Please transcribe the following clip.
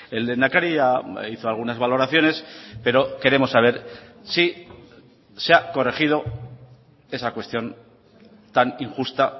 el lehendakari hizo algunas valoraciones pero queremos saber si se ha corregido esa cuestión tan injusta